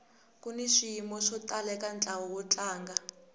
kuni swiyimo swo tala eka ntlawa wo tlanga